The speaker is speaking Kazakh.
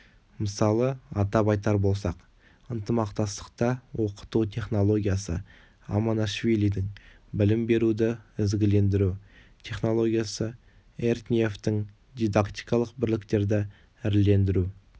мысалы атап айтар болсақ ынтымақтастықта оқыту технологиясы амонашвилидің білім беруді ізгілендіру технологиясы эртниевтің дидактикалық бірліктерді ірілендіру